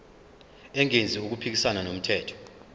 engenzi okuphikisana nomthetho